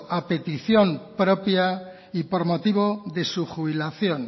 a petición propia y por motivo de su jubilación